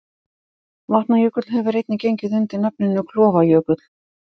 Vatnajökull hefur einnig gengið undir nafninu Klofajökull.